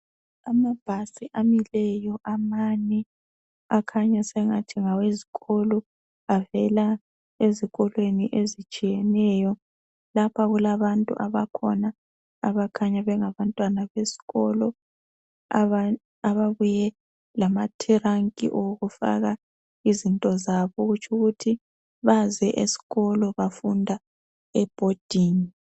Amabhasi amileyo amanye akhanya sengathi ngawezikolo avela ezikolweni ezitshiyeneyo. Lapha kulabantu abakhona abakhanya bengabantwana besikolo abababuye lama tiranki okufaka izinto zabo okutsho ukuthi baze esikolo bafunda ebhodingi.